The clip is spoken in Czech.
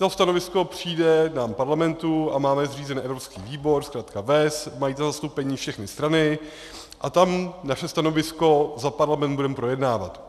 To stanovisko přijde nám, parlamentu, a máme zřízen evropský výbor, zkratka VEZ, mají tam zastoupení všechny strany a tam naše stanovisko za parlament budeme projednávat.